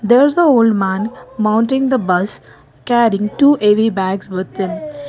there is the old man mounting the bus carrying two heavy bags with him.